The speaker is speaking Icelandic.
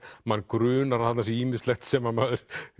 mann grunar að þarna sé ýmislegt sem maður